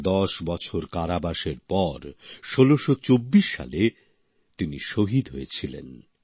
১০ বছর কারাবাসের পর ১৬২৪ সালে তিনি শহীদ হয়েছিলেন